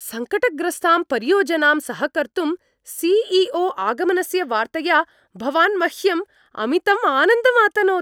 सङ्कटग्रस्तां परियोजनां सहकर्तुं सि.ई.ओ. आगमनस्य वार्तया भवान् मह्यम् अमितम् आनन्दम् अतनोत्!